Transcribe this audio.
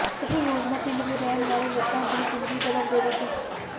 ਇਹ ਯੋਜਨਾ ਪਿੰਡ ਦੇ ਰਹਿਣ ਵਾਲੇ ਲੋਕਾਂ ਦੀ ਜ਼ਿੰਦਗੀ ਬਦਲ ਦੇਵੇਗੀ